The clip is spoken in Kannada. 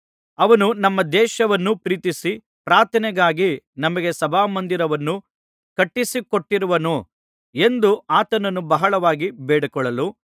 ಅವನು ನಮ್ಮ ದೇಶವನ್ನು ಪ್ರೀತಿಸಿ ಪ್ರಾರ್ಥನೆಗಾಗಿ ನಮಗೆ ಸಭಾಮಂದಿರವನ್ನು ಕಟ್ಟಿಸಿಕೊಟ್ಟಿರುವನು ಎಂದು ಆತನನ್ನು ಬಹಳವಾಗಿ ಬೇಡಿಕೊಳ್ಳಲು